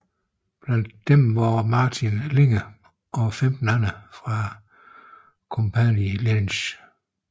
Blandt disse var Martin Linge og 15 andre fra Kompani Linge